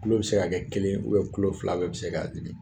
Kulo bɛ se ka kɛ kelen ye kulo fila bɛɛ bɛ se ka dimi.